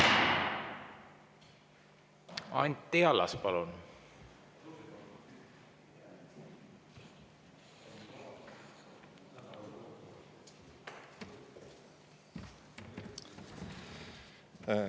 Anti Allas, palun!